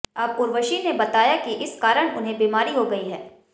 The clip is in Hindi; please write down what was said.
अब उर्वशी ने बताया कि इस कारण उन्हें बीमारी हो गई है